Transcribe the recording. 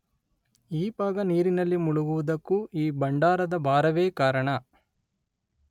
ಈ ಭಾಗ ನೀರಿನಲ್ಲಿ ಮುಳುಗುವುದಕ್ಕೂ ಈ ಭಂಡಾರದ ಭಾರವೇ ಕಾರಣ.